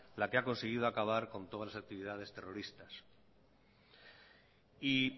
la que ha conseguido acabar con todas las actividades terroristas